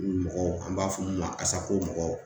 Mɔgɔ an b'a fɔ mun ma Asako mɔgɔw.